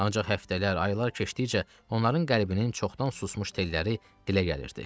Ancaq həftələr, aylar keçdikcə onların qəlbinin çoxdan susmuş telləri dilə gəlirdi.